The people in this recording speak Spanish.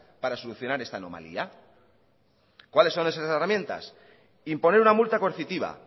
para solucionar esta anomalía cuáles son esas herramientas imponer una multa coercitiva